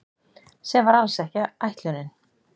Sem var alls ekki ætlunin